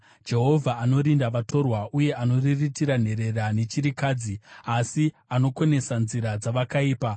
Jehovha anorinda vatorwa uye anoriritira nherera nechirikadzi, asi anokonesa nzira dzavakaipa.